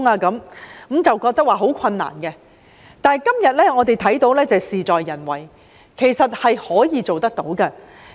那時大家認為相當困難，但到了今天，我看到事在人為，其實是可以做到的。